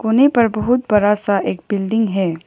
कोने पर बहुत बड़ा सा एक बिल्डिंग है।